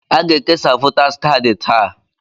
Aga-ekesa votaas kaadị taa.